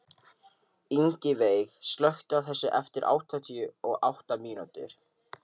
Ingiveig, slökktu á þessu eftir áttatíu og átta mínútur.